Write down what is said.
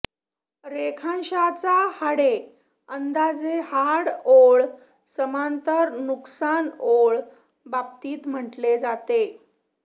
रेखांशाचा हाडे अंदाजे हाड ओळ समांतर नुकसान ओळ बाबतीत म्हटले जाते